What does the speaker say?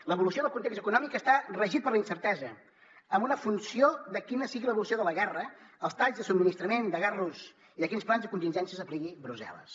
l’evolució del context econòmic està regida per la incertesa en funció de quina sigui l’evolució de la guerra dels talls de subministrament de gas rus i de quins plans de contingències apliqui brussel·les